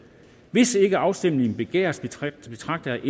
hvis ikke afstemning begæres betragter betragter jeg